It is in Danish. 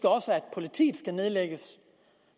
politiet skal nedlægges